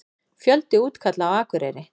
Fjöldi útkalla á Akureyri